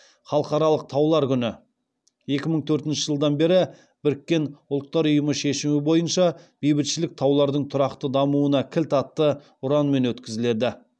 халықаралық таулар күні екі мың төртінші жылдан бері біріккен ұлттар ұйымы шешімі бойынша бейбітшілік таулардың тұрақты дамуына кілт атты ұранмен өткізіледі